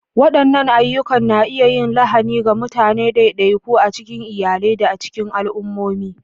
Waɗannan ayyukan na iya yin lahani ga mutane ɗaiɗaiku, a cikin iyalai, da cikin al'ummomi.